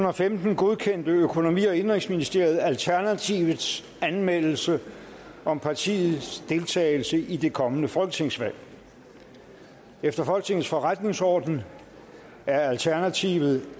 og femten godkendte økonomi og indenrigsministeriet alternativets anmeldelse om partiets deltagelse i det kommende folketingsvalg efter folketingets forretningsorden er alternativet